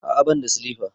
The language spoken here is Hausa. A'a bani da silifa.